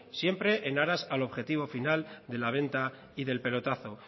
siempre en aras al objetivo final de la venta y del pelotazo